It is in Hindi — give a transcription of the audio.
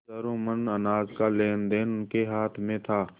हजारों मन अनाज का लेनदेन उनके हाथ में था